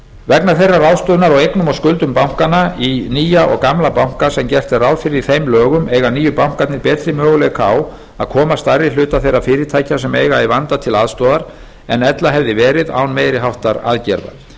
vegna þeirrar ráðstöfunar á eignum og skuldum bankanna í nýja og gamla banka sem gert er ráð fyrir í þeim lögum eiga nýju bankarnir betri möguleika á að koma stærri hluta þeirra fyrirtækja sem eiga í vanda til aðstoðar en ella hefði verið án meiri háttar aðgerða